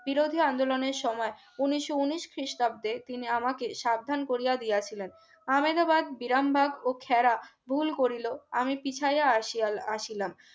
বিরোধী আন্দোলনের সময় উন্নিশো উন্নিশ খ্রিস্টাব্দে তিনি আমাকে সাবধান করিয়া দিয়েছিলেন আমেদাবাদ বিরামবাগ ও খেড়া ভুল করিল আমি পিছাইয়া আসিয়া আসিলাম